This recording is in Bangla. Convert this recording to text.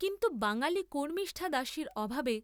কিন্তু বাঙ্গালী কর্ম্মিষ্ঠা দাসীর অভাবে